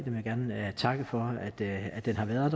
vil gerne takke for at den har været